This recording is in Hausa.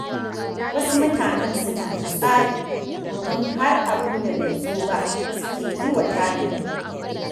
Wasu mutanen suna da tsari, domin har abin da bai zo ba suke yi wa tanadi